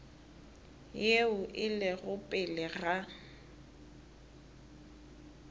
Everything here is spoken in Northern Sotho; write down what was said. yeo e lego pele ga